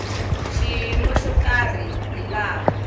xiyimo xo karhi hi laha